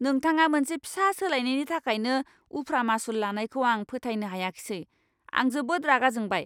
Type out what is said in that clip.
नोंथाङा मोनसे फिसा सोलायनायनि थाखायनो उफ्रा मासुल लानायखौ आं फोथायनो हायाखिसै। आं जोबोद रागा जोंबाय!